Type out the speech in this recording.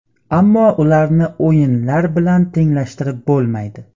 Ammo ularni o‘yinlar bilan tenglashtirib bo‘lmaydi.